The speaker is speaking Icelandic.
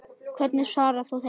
Hvernig svarar þú þeim?